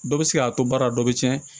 Dɔ bɛ se k'a to baara dɔ bɛ tiɲɛ